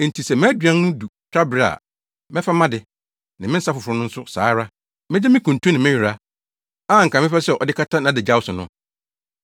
“Enti sɛ mʼaduan no du twabere a mɛfa mʼade, ne me nsa foforo no nso saa ara. Megye me kuntu ne me nwera, a anka mepɛ sɛ ɔde kata nʼadagyaw so no.